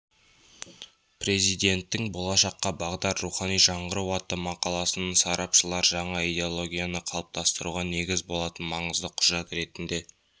президенттің болашаққа бағдар рухани жаңғыру атты мақаласын сарапшылар жаңа идеологияны қалыптастыруға негіз болатын маңызды құжат ретінде